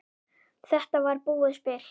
Þetta var búið spil.